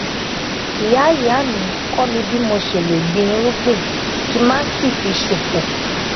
ìyá ìyá mi kó mi bí mo ṣe lè gbin irúgbìn kí má sì fi ṣòfò